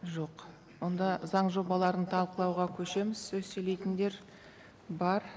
жоқ онда заң жобаларын тақылауға көшеміз сөз сөйлейтіндер бар